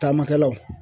Taamakɛlaw